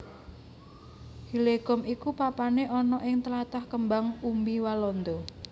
Hillegom iku papané ana ing tlatah kembang umbi Walanda